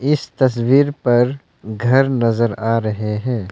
इस तस्वीर पर घर नजर आ रहे हैं।